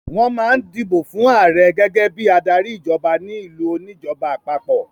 Wọ́n máa ń dìbò fún ààrẹ gẹ́gẹ́ bí adarí ìjọba ní ìlú oníjọba àpapọ̀.